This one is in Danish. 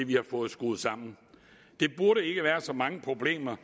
vi har fået skruet sammen der burde ikke være så mange problemer